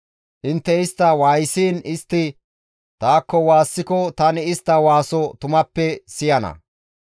Intte istta waayisiin istti taakko waassiko tani istta waaso tumappe siyana;